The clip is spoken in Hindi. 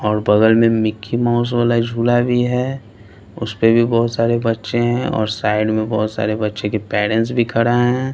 और बगल में मिक्की माउस वाला झूला भी है उस पे भी बहोत सारे बच्चे हैं और साइड में बहोत सारे बच्चे के पेरेंट्स भी खड़े हैं।